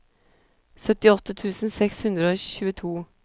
syttiåtte tusen seks hundre og tjueto